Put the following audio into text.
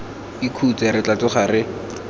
ikhutse re tla tsoga re